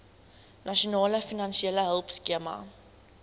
nasionale finansiële hulpskema